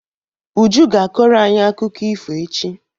Uju ga-akọrọ anyi akụkọ ifo echi.